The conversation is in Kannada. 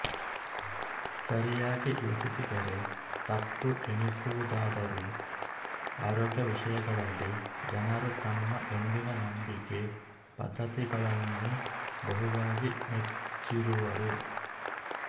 ಸರಿಯಾಗಿ ಯೋಚಿಸಿದರೆ ತಪ್ಪು ಎನಿಸುವುದಾದರೂ ಆರೋಗ್ಯ ವಿಷಯಗಳಲ್ಲಿ ಜನರು ತಮ್ಮ ಎಂದಿನ ನಂಬಿಕೆ ಪದ್ಧತಿಗಳನ್ನೇ ಬಹುವಾಗಿ ನೆಚ್ಚಿರುವರು